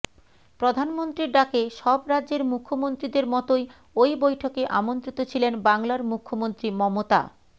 প্রধানমন্ত্রীর ডাকে সব রাজ্যের মুখ্যমন্ত্রীদের মতোই ওই বৈঠকে আমন্ত্রিত ছিলেন বাংলার মুখ্যমন্ত্রী মমতা